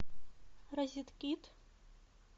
розеткид